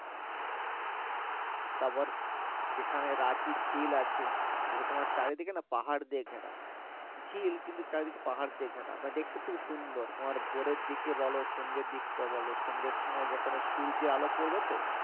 আবার এখানে রাচির ঝিল আছে যেখানে তোমার পাহাড় দিয়ে ঘেরা ঝিল কিন্তু চারি দিকে পাহাড় দিয়ে ঘেরা বা দেখতে তোমার খুব সুন্দর তোমার ভোরের দিকে ভালো সন্ধে দিক করে ভালো সন্ধে সময় ওই সূর্যের আলো পরবে তো।